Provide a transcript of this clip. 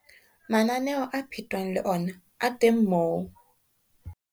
Mananeo a phetwang le ona a teng moo.